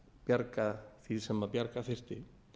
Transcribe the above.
bjarga því sem bjarga þyrfti